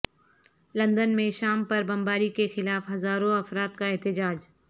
London میں شام پر بمباری کے خلاف ہزاروں افراد کا احتجاج